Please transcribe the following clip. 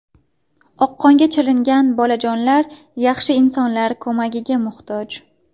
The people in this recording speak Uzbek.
Oqqonga chalingan bolajonlar yaxshi insonlar ko‘magiga muhtoj.